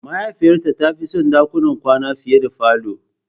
Mahaifiyata ta fi son dakunan kwana fiye da falo.